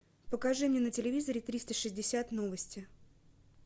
покажи мне на телевизоре триста шестьдесят новости